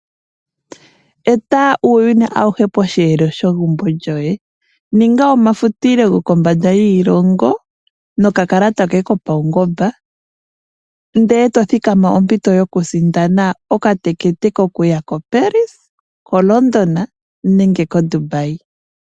Eta uuyuni awuhe posheelo shegumbo lyoye. Ninga omafutilo gokombanda yiilongo nokakalata koye kopaungomba. Ndele eto thikama ompito yokusindana okatekete kokuya koParis, koLondon nenge koDubai.